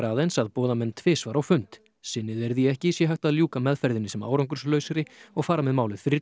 aðeins að boða menn tvisvar á fund sinni þeir því ekki sé hægt að ljúka meðferðinni sem árangurslausri og fara með málið fyrir